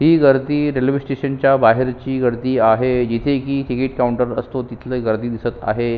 ही गर्दी railway station च्या बाहेरील गर्दी आहे जिथे की तिकीट काऊंटर असतो तिथली गर्दी दिसत आहे.